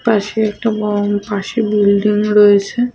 পাশে একটা বং পাশে বিল্ডিং রয়েছে।